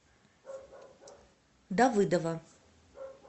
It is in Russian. давыдова